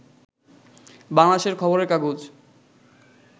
বাংলাদেশের খবরের কাগজ